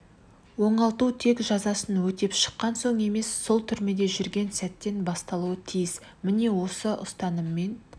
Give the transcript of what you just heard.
оңалту тек жазасын өтеп шыққан соң емес сол түрмеде жүрген сәттен басталуы тиіс міне осы ұстаныммен